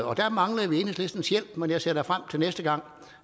og der mangler vi enhedslistens hjælp men jeg ser da frem til næste gang